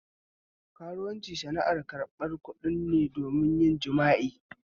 Karuwanci sana'ar ƙarɓan kuɗin ne don yin jima'i